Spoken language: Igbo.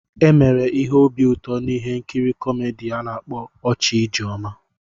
E mere ihe obi ụtọ n'ihe nkiri kọmedi a na-akpọ "Ọchị Ijeoma."